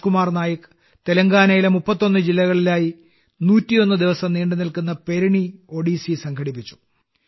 രാജ്കുമാർ നായക് തെലങ്കാനയിലെ 31 ജില്ലകളിലായി 101 ദിവസം നീണ്ടുനിന്ന പെരിണി ഒഡീസി സംഘടിപ്പിച്ചു